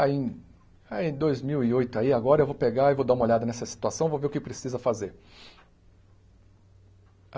Aí, em aí em dois mil e oito aí, agora eu vou pegar e vou dar uma olhada nessa situação, vou ver o que precisa fazer.